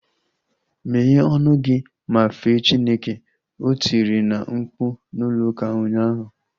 Meghe ọnụ gị ma fee Chineke! O tiri na mkpu n'ụlọ ụka ụnyaahụ